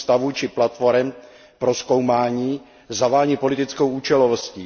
ústavů či platforem pro zkoumání zavání politickou účelovostí.